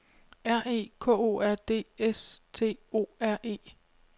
R E K O R D S T O R E